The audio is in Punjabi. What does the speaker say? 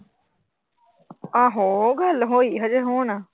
ਆਹੋ ਗੱਲ ਹੋਈ ਹਜੇ ਹੁਣ।